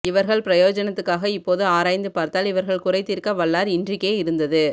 இவர்கள் பிரயோஜனத்துக்காக இப்போது ஆராய்ந்து பார்த்தால் இவர்கள் குறை தீர்க்க வல்லார் இன்றிக்கே இருந்தது